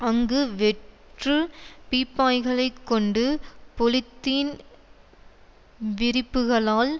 அங்கு வெற்று பீப்பாய்களைக் கொண்டு பொலித்தீன் விரிப்புக்களால்